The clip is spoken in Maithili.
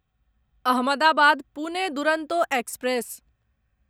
अहमदाबाद पुने दुरंतो एक्सप्रेस